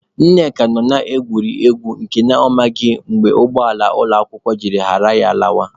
Nneka nọ na-egwuri egwu nke na ọ maghị mgbe ụgbọala ụmụakwụkwọ ji ghara ya lawa.